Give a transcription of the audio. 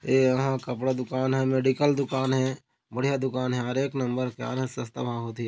एहा कपड़ा दुकान हे मेडिकल दुकान हे बढ़िया दुकान हे एक नंबर का सस्ता बहुत ही--